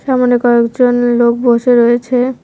সামোনে কয়েকজন লোক বসে রয়েছে।